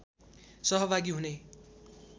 सहभागी हुने